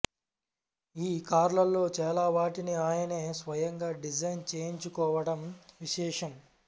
ఈ కార్లలో చాలావాటిని ఆయనే స్వయంగా డిజైన్ చేయించుకోవడం విశేషం